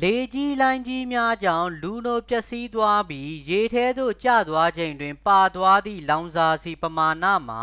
လေကြီးလှိုင်းကြီးများကြောင့် လူနို ပျက်စီးသွားပြီး ရေထဲသို့ ကျသွားချိန်တွင် ပါသွားသည့် လောင်စာဆီ ပမာဏမှာ